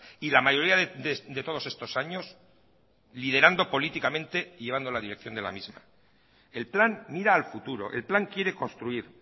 y la mayoría de todos estos años liderando políticamente y llevando la dirección de la misma el plan mira al futuro el plan quiere construir